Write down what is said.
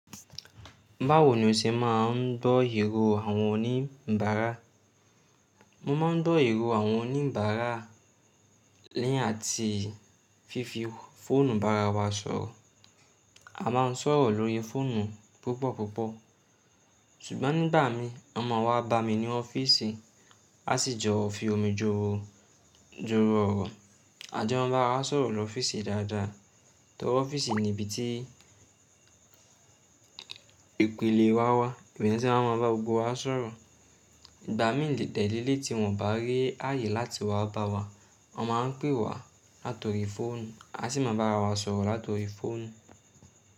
Báwo ni o ṣe máa ń dọ́ ìro àwọn oníǹbárà? Mo ma ń gbọ́ ìrò àwọn oníǹbárà lẹ́yìn àti fífi fóònù bàrá wa sọ̀rọ̀. A máa ń sọ̀rọ̀ lórí fóònù púpọ̀ púpọ̀. Sùgbón ni ìgbà mii, wọn máa wá bámi ní ofiisi, a sì jọ fi omi joro ọ̀rọ̀. A jọ n bá ra sọ̀rọ̀ lọ́wọ́ ọ́fíìsì dáadáa. Nítorí ọ́fíìsì ni ibi tí ìpìlẹ̀ wa wà. Ibẹ̀ ni wọ́n tí a máa mọ̀ pé gbogbo wa ń sọ̀rọ̀. Ìgbà mí dẹ̀ leléyìí tí wọ́n bá rí ààyè láti wá bá wa, wọ́n máa ń pè wá látọrí fóònù, a sì máa bá wa sọ̀rọ̀ látọrí fóònù.